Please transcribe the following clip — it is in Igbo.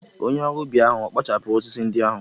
Onye ọrụ ubi ahụ ọ̀ kpachapụrụ osisi ndị ahụ?